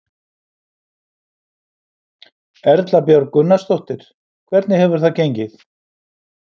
Erla Björg Gunnarsdóttir: Hvernig hefur það gengið?